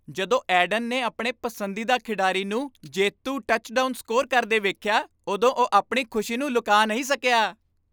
ਜਦੋਂ ਐਡਨ ਨੇ ਆਪਣੇ ਪਸੰਦੀਦਾ ਖਿਡਾਰੀ ਨੂੰ ਜੇਤੂ ਟੱਚਡਾਊਨ ਸਕੋਰ ਕਰਦੇ ਵੇਖਿਆ ਉਦੋਂ ਓਹ ਆਪਣੀ ਖੁਸ਼ੀ ਨੂੰ ਲੁਕਾ ਨਹੀਂ ਸਕਿਆ